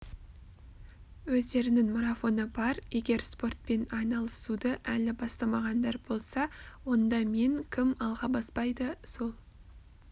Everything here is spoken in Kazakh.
өздерінің марафоны бар егер спортпен айналысуды әлі бастамағандар болса онда мен кім алға баспайды сол